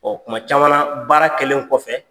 tuma caman na baara kɛlen kɔfɛ